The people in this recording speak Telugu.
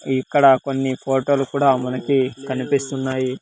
ఇక్కడ కొన్ని ఫోటోలు కూడా మనకి కనిపిస్తున్నాయి.